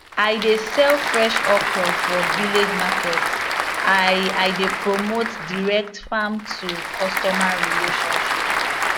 i dey sell fresh okra for village market i i dey promote direct farm to customer relationship